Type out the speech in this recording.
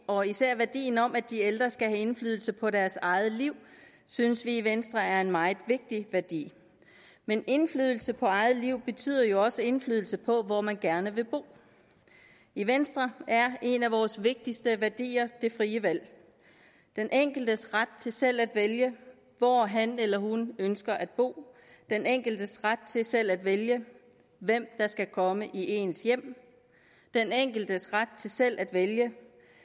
og især værdien om at de ældre skal have indflydelse på deres eget liv synes vi i venstre er en meget vigtig værdi men indflydelse på eget liv betyder jo også indflydelse på hvor man gerne vil bo i venstre er en af vores vigtigste værdier det frie valg den enkeltes ret til selv at vælge hvor han eller hun ønsker at bo den enkeltes ret til selv at vælge hvem der skal komme i ens hjem den enkeltes ret til selv at vælge